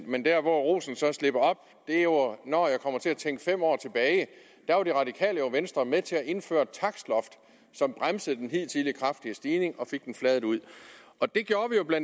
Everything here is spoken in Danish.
men der hvor rosen så slipper op er jo når jeg kommer til at tænke fem år tilbage da var det radikale venstre jo med til at indføre et takstloft som bremsede den hidtidige kraftige stigning og fik den fladet ud det gjorde vi jo bla